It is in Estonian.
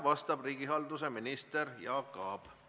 Vastab riigihalduse minister Jaak Aab.